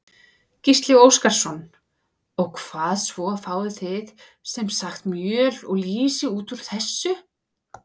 Gísli Óskarsson: Og svo fáið þið sem sagt mjöl og lýsi út úr þessu?